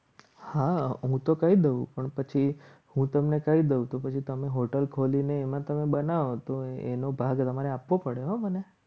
હા હું તો કહી દઉં પણ પછી હું તમને કહી દઉં તો પછી તમે hotel ખોલીને એમાં તમે બનાવો તો એનો ભાગ તમારે આપવો પડે હો મને